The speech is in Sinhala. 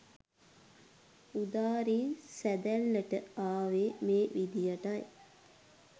උදාරි සැඳැල්ලට ආවේ මේ විදියටයි.